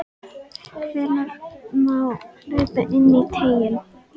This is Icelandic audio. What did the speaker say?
Hvenær má hlaupa inní teiginn?